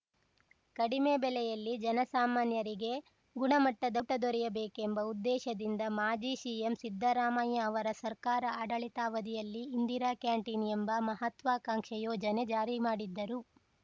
ಕಡಿಮೆ ಬೆಲೆಯಲ್ಲಿ ಜನಸಾಮಾನ್ಯರಿಗೆ ಗುಣಮಟ್ಟದ ಊಟ ದೊರೆಯಬೇಕೆಂಬ ಉದ್ದೇಶದಿಂದ ಮಾಜಿ ಸಿಎಂ ಸಿದ್ದರಾಮಯ್ಯ ಅವರ ಸರ್ಕಾರ ಆಡಳಿತಾವಧಿಯಲ್ಲಿ ಇಂದಿರಾ ಕ್ಯಾಂಟಿನ್‌ ಎಂಬ ಮಹತ್ವಾಕಾಂಕ್ಷೆ ಯೋಜನೆ ಜಾರಿ ಮಾಡಿದ್ದರು